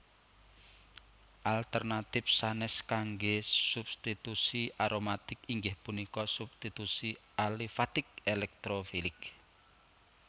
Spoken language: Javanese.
Alternatif sanes kangge substitusi aromatik inggih punika substitusi alifatik elektrofilik